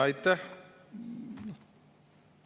Aitäh!